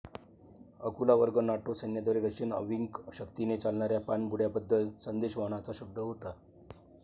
अकुला वर्ग नाटो सैन्याद्वारे रशियन अंविक शक्तीने चालणाऱ्या पाणबुड्या बद्दल संदेशवहनाचा शब्द होता